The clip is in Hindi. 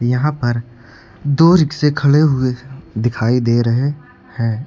यहां पर दो रिक्शे खड़े हुए दिखाई दे रहे हैं।